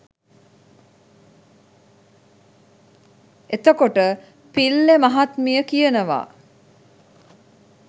එතකොට පිල්ලේ මහත්මිය කියනවා